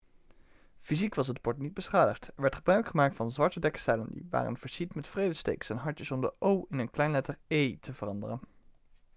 fysiek was het bord niet beschadigd er werd gebruik gemaakt van zwarte dekzeilen die waren versierd met vredestekens en hartjes om de o' in een kleine letter e' te veranderen